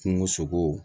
Kungo sogow